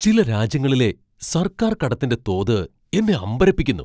ചില രാജ്യങ്ങളിലെ സർക്കാർ കടത്തിന്റെ തോത് എന്നെ അമ്പരപ്പിക്കുന്നു.